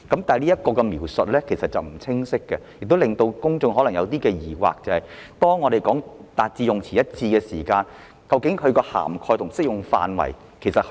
這方面的描述有欠清晰，亦令公眾產生疑惑，就是當政府說要達致用詞一致時，究竟涵蓋和適用範圍有多大？